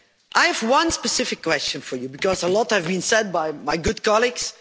I have one specific question for you because a lot has been said by my good colleagues.